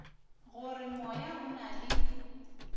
gore moya o na le